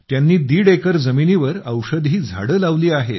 त्यांनी दीड एकर जमिनीवर औषधी झाडे लावली आहेत